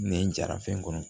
Nɛn jara fɛn kɔnɔ